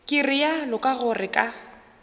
ke realo ka gore ka